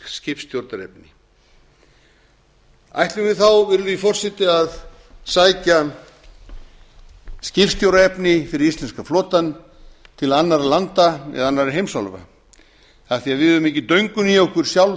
skipstjórnarefni ætlum við þá virðulegi forseti að sækja skipstjóraefni fyrir íslenska flotann til annarra landa eða annarra heimsálfa af því að við höfum ekki döngun í okkur sjálf